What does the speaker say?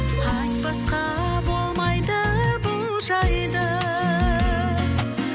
айтпасқа болмайды бұл жайды